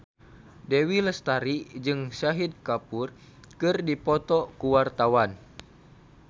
Dewi Lestari jeung Shahid Kapoor keur dipoto ku wartawan